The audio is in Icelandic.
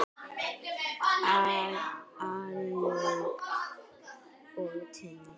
Áslaug og Tinna.